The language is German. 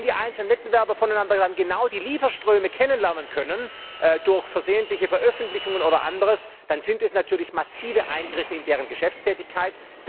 Und wenn die einzelnen Wettbewerber dann voneinander genau die Lieferströme kennenlernen können, durch versehentliche Veröffentlichungen oder anderes, dann sind das natürlich massive Eingriffe in deren Geschäftstätigkeit.